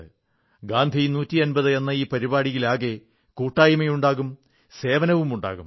ഗാന്ധി 150 എന്ന ഈ പരിപാടിയിലാകെ കൂട്ടായ്മയുമുണ്ടാകും സേവനവുമുണ്ടാകും